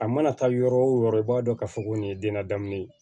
A mana taa yɔrɔ wo yɔrɔ i b'a dɔn k'a fɔ ko nin ye den ladamunen ye